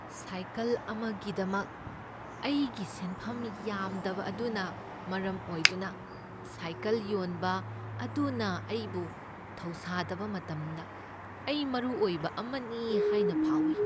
Cycle ꯑꯃꯒꯤꯗꯃꯛ ꯑꯩꯒꯤ ꯁꯦꯟꯐꯝ ꯌꯥꯝꯗꯕ ꯑꯗꯨꯅ ꯃꯔꯝ ꯑꯣꯏꯗꯨꯅ ꯁꯥꯏꯀꯜ ꯌꯣꯟꯕ ꯑꯗꯨꯅ ꯑꯩꯕꯨ ꯊꯧꯁꯥꯗꯕ ꯃꯇꯝꯗ ꯑꯩ ꯃꯔꯨ ꯑꯣꯏꯕ ꯑꯃꯅꯤ ꯍꯥꯏꯅ ꯐꯥꯎꯏ ꯫